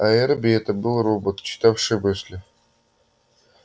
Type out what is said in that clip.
а эрби это был робот читавший мысли